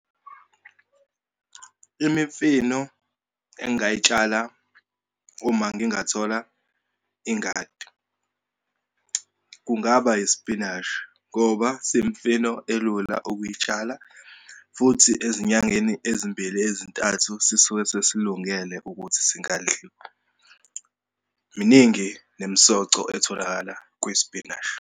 Imifino engayitshala uma ngingathola ingadi. Kungaba isipinashi ngoba siyimifino elula ukuyitshala, futhi ezinyangeni ezimbili ezintathu sisuke sesilungele ukuthi singadliwa. Miningi nemisoco etholakala kwisipinashi.